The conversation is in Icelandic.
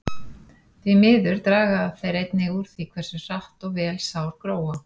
Því miður draga þeir einnig úr því hversu hratt og vel sár gróa.